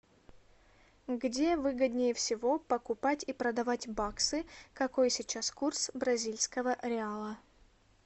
где выгоднее всего покупать и продавать баксы какой сейчас курс бразильского реала